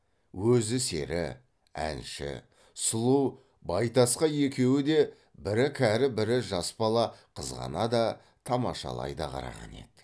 өзі сері әнші сұлу байтасқа екеуі де бірі кәрі бірі жас бала қызғана да тамашалай да қараған еді